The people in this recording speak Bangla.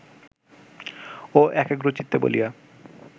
ও একাগ্রচিত্ত বলিয়া